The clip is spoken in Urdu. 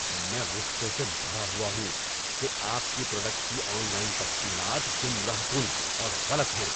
میں غصے سے بھرا ہوا ہوں کہ آپ کی پروڈکٹ کی آن لائن تفصیلات گمراہ کن اور غلط ہیں۔